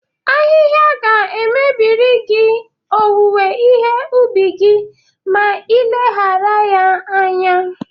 Ahịha ga-emebiri gị owuwe ihe ubi gị ma ị leghara ya anya.